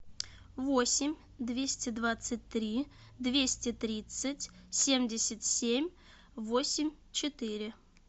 восемь двести двадцать три двести тридцать семьдесят семь восемь четыре